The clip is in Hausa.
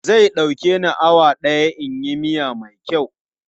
Zai ɗauke ni awa ɗaya in yi miya mai kyau.